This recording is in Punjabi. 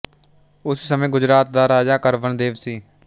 ਉਸ ਸਮੇਂ ਗੁਜਰਾਤ ਦਾ ਰਾਜਾ ਕਰਣ ਦੇਵ ਸੀ